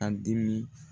A dimi